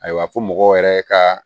Ayiwa fo mɔgɔw yɛrɛ ka